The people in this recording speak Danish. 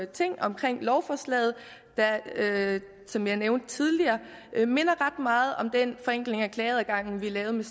ting om lovforslaget der som jeg nævnte tidligere minder ret meget om den forenkling af klageadgangen vi lavede